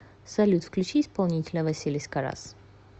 салют включи исполнителя василис каррас